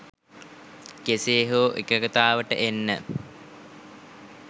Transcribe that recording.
කෙසේ හෝ එකඟතාවට එන්න